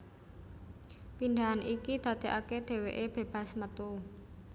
Pindhahan iki dadekake dheweke bebas metu